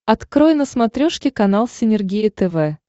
открой на смотрешке канал синергия тв